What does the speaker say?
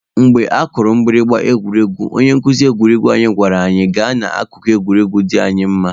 Mgbe akụrụ mgbịrịgba egwuregwu, onye nkuzi egwuruegwu anyị gwara anyị gaa n'akụkụ egwuregwu dị anyị mma.